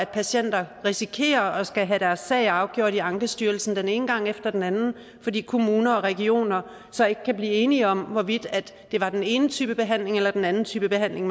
patienter risikerer at skulle have deres sager afgjort i ankestyrelsen den ene gang efter den anden fordi kommuner og regioner så ikke kan blive enige om hvorvidt det var den ene type behandling eller den anden type behandling